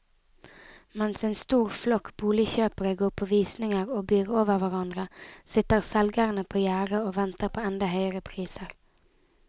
Mens en stor flokk boligkjøpere går på visninger og byr over hverandre, sitter selgerne på gjerdet og venter på enda høyere priser.